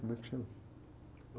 Como é que chama?